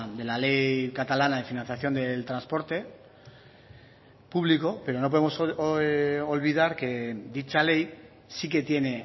de la ley catalana de financiación del transporte público pero no podemos olvidar que dicha ley sí que tiene